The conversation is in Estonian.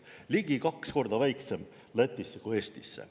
Lätisse oli see ligi kaks korda väiksem kui Eestisse!